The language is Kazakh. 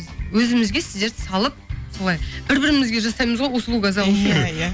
өзімізге сіздерді салып солай бір бірімізге жасаймыз ғой услуга за услугу иә иә